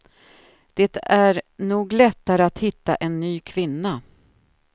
Det är nog lättare att hitta en ny kvinna.